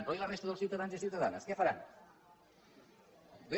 però i la resta de ciutadans i ciutadanes què faran bé